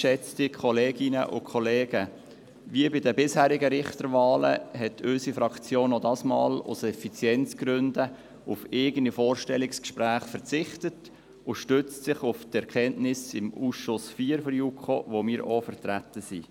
Wie bei den bisherigen Richterwahlen hat unsere Fraktion auch dieses Mal aus Effizienzgründen auf eigene Vorstellungsgespräche verzichtet und stützt sich auf die Erkenntnisse im Ausschuss IV der JuKo, in welchem wir auch vertreten sind.